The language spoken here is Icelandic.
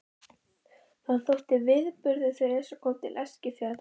Það þótti viðburður þegar Esjan kom til Eskifjarðar.